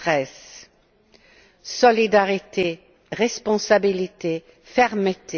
2013. Solidarité, responsabilité, fermeté.